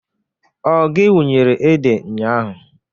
Ọ gị wunyere ede nnya ahụ?